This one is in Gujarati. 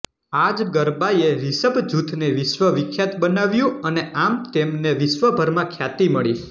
આ જ ગરબાએ રિષભ જૂથને વિશ્વ વિખ્યાત બનાવ્યું અને આમ તેમને વિશ્વભરમાં ખ્યાતિ મળી